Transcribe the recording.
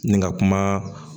Ni ka kuma